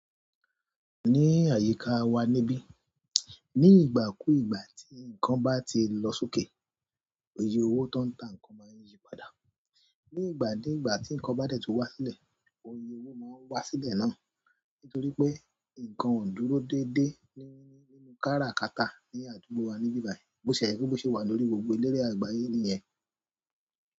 Ní àyíká wa níbí, ní ìgbà kú ìgbà tí nǹkan bá ti lọ sókè, oyè owó tó ń ta nǹkan máa yí padà. Ní ìgbà ki ìgbà tí nǹkan bá dẹ̀ tu wá sílẹ̀, oyè owó máa wá sílẹ̀ náà. Nítorí pé, nǹkan ò dúró dédé nínú káràkátà ní àdúgbò wa níbí báyìí, bó ti je pe bó ṣe wà lórí gbogbo orile àgbáyé nìyẹn.